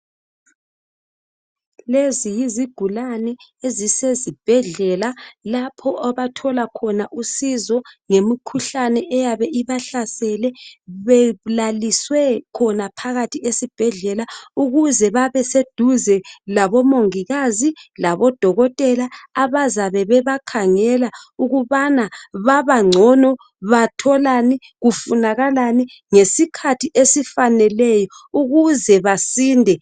Lezi yizigulane ezisezibhedlela lapho abathola khona usizo ngemikhuhlane eyabe ibahlasele belaliswe phakathi khona esibhedlela. Ukuze babe seduze labo mongikazi labo dokotela abazabe bebakhangela ukubana babagcono batholani kufunakalani ngesikhathi esifaneleyo ukuze basinde.